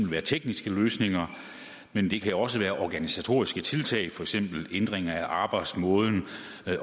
være tekniske løsninger men det kan også være organisatoriske tiltag for eksempel ændring af arbejdsmåden